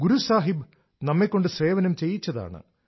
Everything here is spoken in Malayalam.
ഗുരു സാഹിബ് നമ്മെകൊണ്ട് സേവനം ചെയ്യിച്ചതാണ്